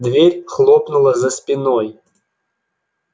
дверь хлопнула за спиной